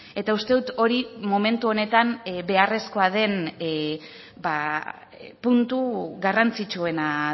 eta uste dut hori momentu honetan beharrezkoa den puntu garrantzitsuena